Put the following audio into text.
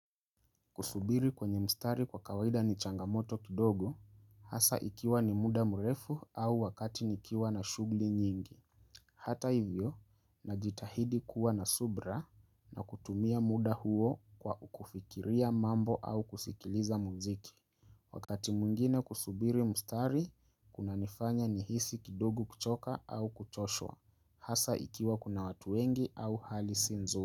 Kusubiri kwenye mstari kwa kawaida ni changamoto kidogo, hasa ikiwa ni muda mrefu au wakati nikiwa na shughili nyingi. Hata hivyo, na jitahidi kuwa na subira na kutumia muda huo kwa kufikiria mambo au kusikiliza muziki. Wakati mwingine kusubiri mstari, kuna nifanya ni hisi kidogo kuchoka au kuchoshwa, hasa ikiwa kuna watu wengi au hali si nzuri.